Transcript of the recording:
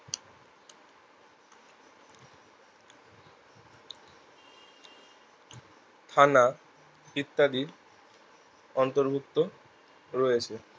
থানা ইত্যাদি অন্তর্ভুক্ত রয়েছে